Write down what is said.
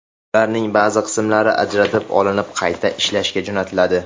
Ularning ba’zi qismlari ajratib olinib, qayta ishlashga jo‘natiladi.